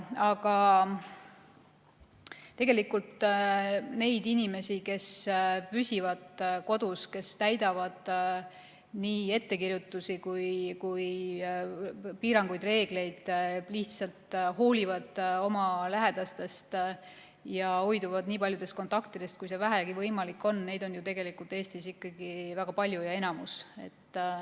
Aga tegelikult neid inimesi, kes püsivad kodus, kes täidavad nii ettekirjutusi kui ka piiranguid ja reegleid, lihtsalt hoolivad oma lähedastest ja hoiduvad nii paljudest kontaktidest, kui vähegi on võimalik, on tegelikult Eestis ikkagi väga palju, nad on enamuses.